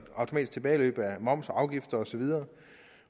automatisk tilbageløb af moms og afgifter osv